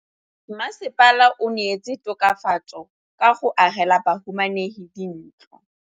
Mmasepala o neetse tokafatsô ka go agela bahumanegi dintlo.